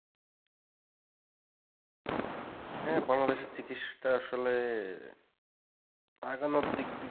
হ্যাঁ বাংলাদেশের চিকিৎসা আসলে আগানোর দিক দিয়ে,